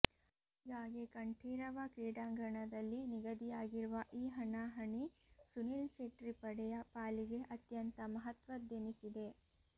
ಹೀಗಾಗಿ ಕಂಠೀರವ ಕ್ರೀಡಾಂಗಣದಲ್ಲಿ ನಿಗದಿಯಾಗಿರುವ ಈ ಹಣಾಹಣಿ ಸುನಿಲ್ ಚೆಟ್ರಿ ಪಡೆಯ ಪಾಲಿಗೆ ಅತ್ಯಂತ ಮಹತ್ವದ್ದೆನಿಸಿದೆ